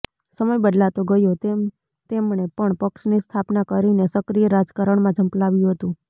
સમય બદલાતો ગયો તેમ તેમણે પણ પક્ષની સ્થાપના કરીને સક્રિય રાજકારણમાં ઝંપલાવ્યું હતું